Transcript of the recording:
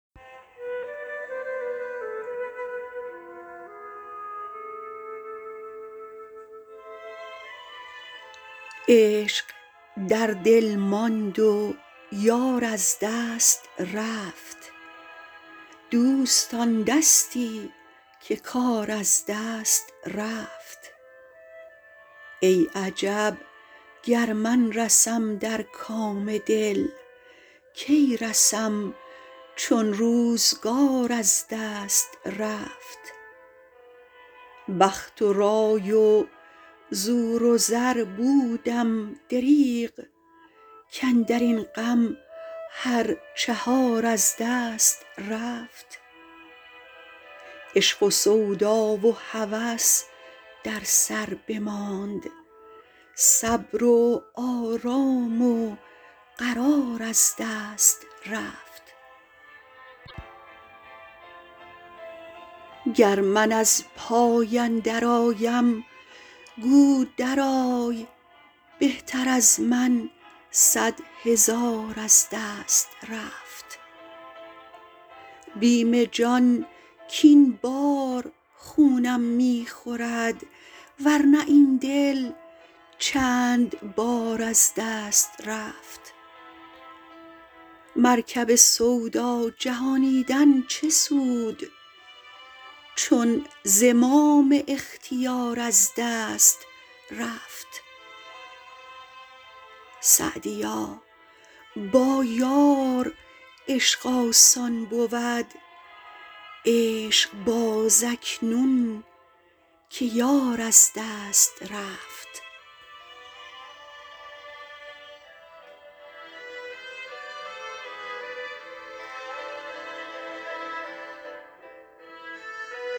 عشق در دل ماند و یار از دست رفت دوستان دستی که کار از دست رفت ای عجب گر من رسم در کام دل کی رسم چون روزگار از دست رفت بخت و رای و زور و زر بودم دریغ کاندر این غم هر چهار از دست رفت عشق و سودا و هوس در سر بماند صبر و آرام و قرار از دست رفت گر من از پای اندرآیم گو درآی بهتر از من صد هزار از دست رفت بیم جان کاین بار خونم می خورد ور نه این دل چند بار از دست رفت مرکب سودا جهانیدن چه سود چون زمام اختیار از دست رفت سعدیا با یار عشق آسان بود عشق باز اکنون که یار از دست رفت